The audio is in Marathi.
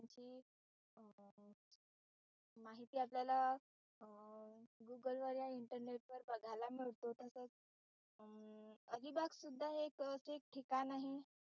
माहिती आपल्याला वर या google internet वर बघायला मिळतो. तसच अलिबाग सुद्धा हे एक असे ठिकाण आहे.